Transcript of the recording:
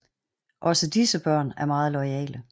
Også disse børn er meget loyale